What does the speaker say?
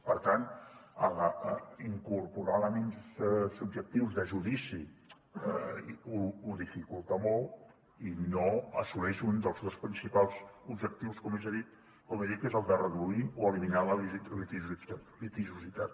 per tant incorporar elements subjectius de judici ho dificulta molt i no assoleix un dels seus principals objectius com he dit que és el de reduir o eliminar la litigiositat